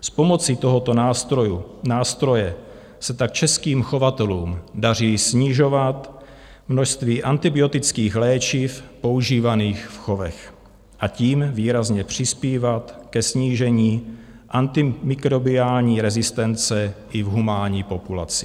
S pomocí tohoto nástroje se tak českým chovatelům daří snižovat množství antibiotických léčiv používaných v chovech, a tím výrazně přispívat ke snížení antimikrobiální rezistence i v humánní populaci.